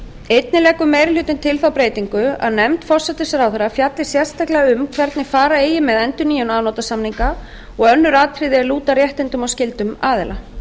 einnig leggur meiri hlutinn til þá breytingu að nefnd forsætisráðherra fjalli sérstaklega um hvernig fara eigi með endurnýjun afnotasamninga og önnur atriði er lúta að réttindum og skyldum aðila